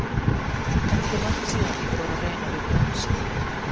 Ekki er langt síðan ég fór að reyna við bronsið.